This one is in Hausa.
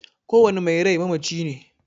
Kowane mai rai mamaci ne.